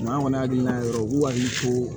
an kɔni hakilina yɛrɛ u b'u hakili to